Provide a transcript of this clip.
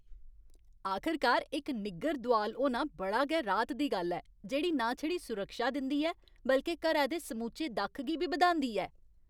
आखरकार इक निग्गर दोआल होना बड़ी गै राहत दी गल्ल ऐ जेह्ड़ी ना छड़ी सुरक्षा दिंदी ऐ बल्के घरै दे समूचे दक्ख गी बी बधांदी ऐ।